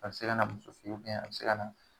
A bi se ka na muso fe yen a bi se ka na